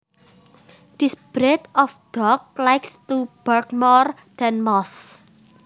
This breed of dog likes to bark more than most